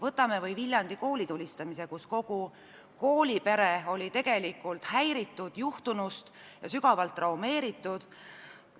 Võtame või Viljandi koolitulistamise – kogu koolipere oli tegelikult juhtunust häiritud ja sügavalt traumeeritud.